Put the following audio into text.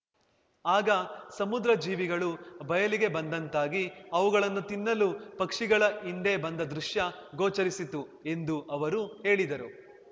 ಆಗ ಸಮುದ್ರಜೀವಿಗಳು ಬಯಲಿಗೆ ಬಂದಂತಾಗಿ ಅವುಗಳನ್ನು ತಿನ್ನಲು ಪಕ್ಷಿಗಳ ಹಿಂಡೇ ಬಂದ ದೃಶ್ಯ ಗೋಚರಿಸಿತು ಎಂದು ಅವರು ಹೇಳಿದರು